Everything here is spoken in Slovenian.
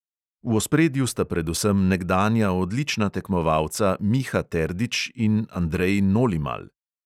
V ospredju sta predvsem nekdanja odlična tekmovalca miha terdič in andrej nolimal.